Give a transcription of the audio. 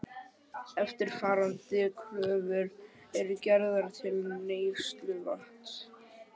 Eftirfarandi kröfur eru gerðar til neysluvatns